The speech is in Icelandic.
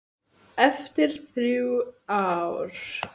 Eftir þrjú ár.